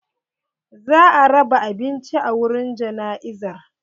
Za a raba abinci a wurin jana'izar.